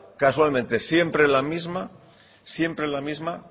casualmente siempre la misma siempre la misma